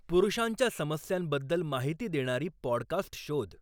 पुरुषांच्या समस्यांबद्दल माहिती देणारी पॉडकास्ट शोध